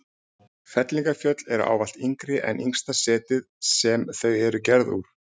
Fellingafjöll eru ávallt yngri en yngsta setið sem þau eru gerð úr.